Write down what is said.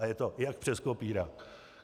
A je to, jak přes kopírák.